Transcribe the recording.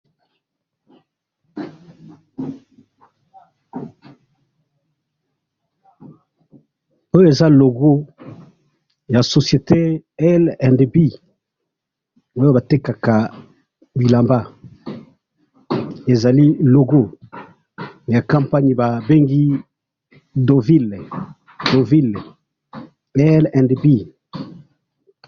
yo eza logo ya campanie ba bengi L&B, batekaka bilamba.